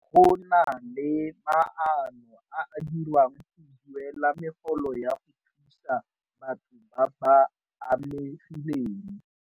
Go na le maano a a dirwang go duela megolo ya go thusa batho ba ba amegileng.